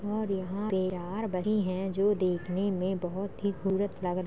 और यहाँ पे चार बच्चे हैं जो देखने में बहुत ही --